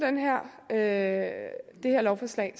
af det her lovforslag